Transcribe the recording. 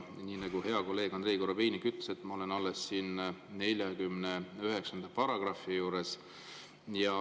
Nii nagu hea kolleeg Andrei Korobeinik ütles, ma olen alles § 49 juures.